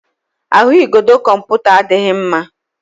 Ahụigodo kọmputa adịghị mma.